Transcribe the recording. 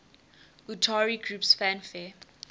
utari groups fanfare